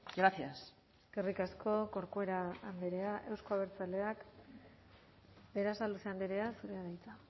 gracias eskerrik asko corcuera andrea euzko abertzaleak berasaluze andrea zurea da hitza